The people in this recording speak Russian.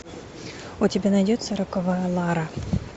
у тебя найдется роковая лара